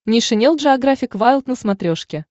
нейшенел джеографик вайлд на смотрешке